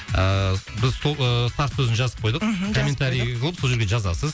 ыыы біз сол ы старт сөзін жазып қойдық мхм жазып қойдық комментарий қылып сол жерге жазасыз